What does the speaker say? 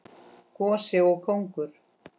Gosi og kóngur.